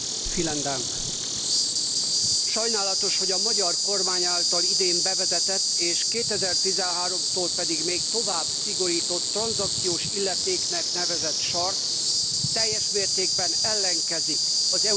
Sajnálatos, hogy a magyar kormány által idén bevezetett, és 2013 tól még tovább szigorított tranzakciós illetéknek nevezett sarc teljes mértékben ellenkezik az európai tranzakciós adó szellemével.